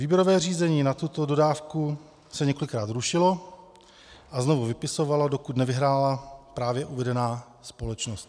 Výběrové řízení na tuto dodávku se několikrát rušilo a znovu vypisovalo, dokud nevyhrála právě uvedená společnost.